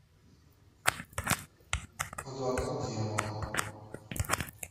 адвокат дьявола